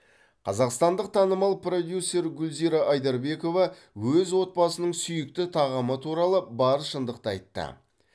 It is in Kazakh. қазақстандық танымал продюсер гүлзира айдарбекова өз отбасының сүйікті тағамы туралы бар шындықты айтты